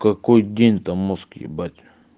какой день там мозг ебать